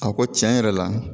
A ko tiɲɛ yɛrɛ la